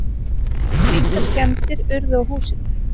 Engar skemmdir urðu á húsinu.